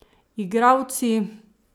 Igralci?